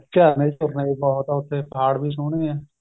ਉੱਚਾ ਪਹਾੜ ਵੀ ਸੋਹਣੇ ਏ